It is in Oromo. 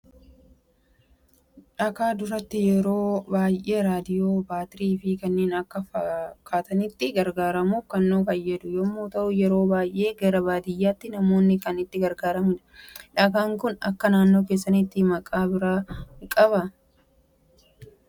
Dhakaa duraata yeroo baay'ee raadiyoo ,baatirii, fi kanneen kana fakkatanitti gargaaramuuf kan nu faayyadu yemmu ta'u, yeroo baay'ee gara baadiyaatti namoonni kan itti gargaaramanidha. Dhakaan kun akka naannoo keessanitti Maqaa bira kan qabu jira?